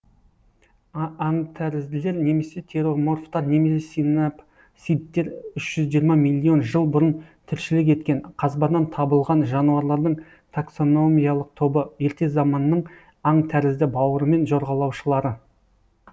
аңтәрізділер немесе тероморфтар немесе синапсидтер үш жүз жиырма миллион жыл бұрын тіршілік еткен қазбадан табылған жануарлардың таксономиялық тобы ерте заманның аңтәрізді бауырымен жорғалаушылары